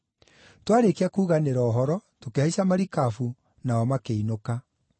Twaarĩkia kuganĩra ũhoro, tũkĩhaica marikabu, nao makĩinũka.